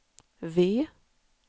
V